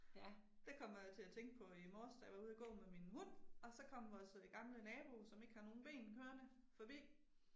Det kommer jeg til at tænke på i morges da jeg var ude og gå med min hund. Og så kom vores gamle nabo som ikke har nogen ben kørende forbi